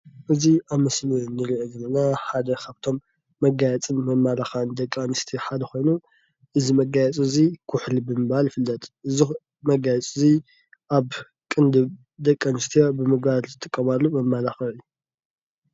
እዚ ኣብ ምስሊ ንሪኦ ዘለና ሓደ ካብቶም መጋየፅን መመላኽዕን ደቂ ኣንስትዮ ሓደ ኮይኑ እዚ መጋየጺ እዚ ኩሕሊ ብምባል ይፍለጥ እዚ ኩሕሊ መጋየጺ እዚ ኣብ ቅንድብ ደቂ ኣንስትዮ ብምግባር ዝጥቀማሉ መመላኽዒ እዩ ።